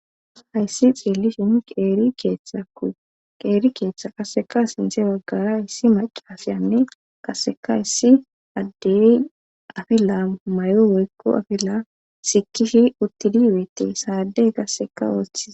hayssi xeelli shin qeeri keeththa qasseka sinthe baggara hissi maci asiyanne qasseka hissi addeyi afila may7o woykko afila sikishi uttidi weeti saadey kasseka oothie